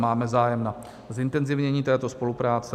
Máme zájem na zintenzivnění této spolupráce.